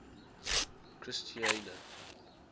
christiana